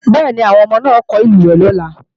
Bẹ́ẹ̀ni, àwọn ọmọ náà ó kọ́ ìlúwẹ̀ẹ́ lọ́la